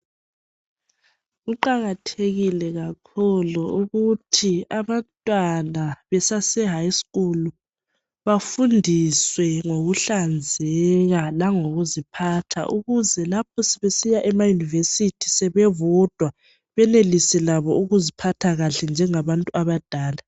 Kuqakathekile kakhulu ukuthi abantwana besaseHigh school bafundiswe ngokuhlanzeka langokuziphatha ukuze lapho sebesiya emaUniversity sebebodwa benelise labo ukuzphatha kahle njengabantu abadala.